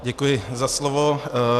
Děkuji za slovo.